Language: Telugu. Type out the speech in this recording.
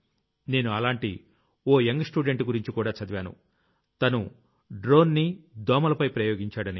నేను అలాంటి ఓ యంగ్ స్టూడెంట్ గురించి కూడా చదివాను తను డ్రోన్ ని దోమలపై ప్రయోగించాడని